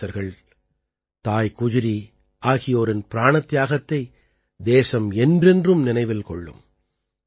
இளவரசர்கள் தாய் குஜ்ரீ ஆகியோரின் பிராணத்தியாகத்தை தேசம் என்றென்றும் நினைவில் கொள்ளும்